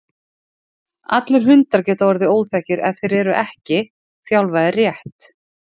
Allir hundar geta orðið óþekkir ef þeir eru ekki þjálfaðir rétt.